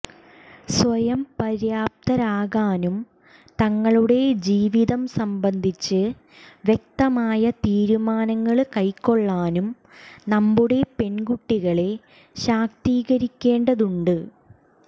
സ്വയംപര്യാപ്തരാകാനും തങ്ങളുടെ ജീവിതം സംബന്ധിച്ച് വ്യക്തമായ തീരുമാനങ്ങള് കൈക്കൊള്ളാനും നമ്മുടെ പെണ്കുട്ടികളെ ശാക്തീകരിക്കേണ്ടതുണ്ട്